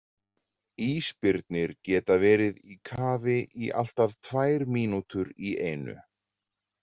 Ísbirnir geta verið í kafi í allt að tvær mínútur í einu.